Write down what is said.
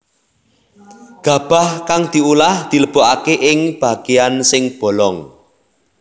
Gabah kang diolah dilebokaké ing bagéan sing bolong